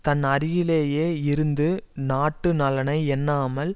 தன் அருகிலேயே இருந்தும் நாட்டு நலனை எண்ணாமல்